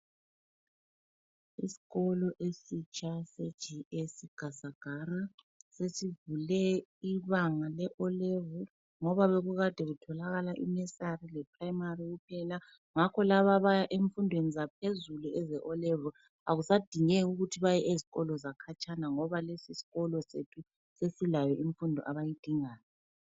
Isikolo esitsha se G.S Gasagara, sesivule ibanga le O level ngoba bekukade kutholakala inursery le primary kuphela, ngakho labo abaya ezimfundweni zaphezulu eze O level akusadingeki ukuthi baye ezikolweni ezikhatshana ngoba lesi sikolo sethu sesilayo imfundo abayidingayo.